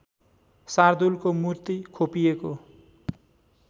शार्दूलको मूर्ति खोपिएको